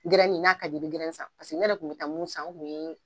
Gɛrɛnnin n'a ka di ye i be gɛrɛn san paseke ne yɛrɛ kun be taa mun san , o ye